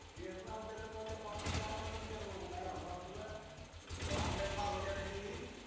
तेचण णा मग कायत त्या mall मध्ये जाण बंदच केल बाबा काय सांगाव आता तुला तवाह online मागवली आता tv